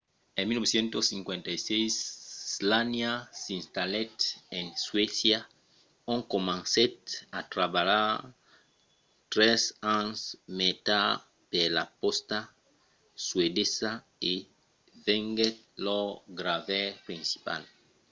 en 1956 słania s'installèt en suècia ont comencèt a trabalhar tres ans mai tard per la pòsta suedesa e venguèt lor gravaire principal